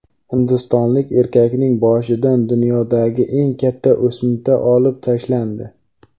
Hindistonlik erkakning boshidan dunyodagi eng katta o‘simta olib tashlandi.